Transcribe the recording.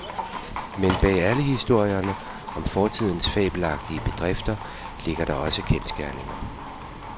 Men bag alle historierne om fortidens fabelagtige bedrifter ligger der også kendsgerninger.